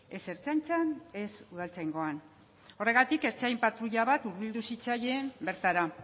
ez ertzaintzan ez udaltzaingoan horregatik ertzain patrulla hurbildu zitzaien bertara